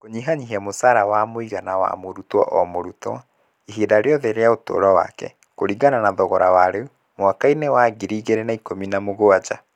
Kũnyihanyihia mũcara wa mũigana wa mũrutwo o mũrutwo ihinda rĩothe rĩa ũtũũro wake kũringana na thogora wa rĩu (mwaka –inĩ wa ngiri igĩrĩ na ikũmi na mũgwanja).